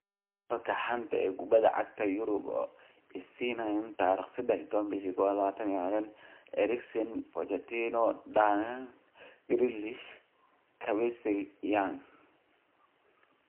Wararka xanta kubada cagta Yurub Isniin 13.01.2020: Eriksen, Pochettino, Dunk, Grealish, Kabasele, Young